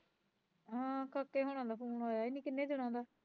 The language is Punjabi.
ਹਾਂ ਕਾਕੇ ਹੁਣਾ ਦਾ phone ਆਇਆ ਈ ਨੀ ਕਿੰਨੇ ਦਿਨਾਂ ਦਾ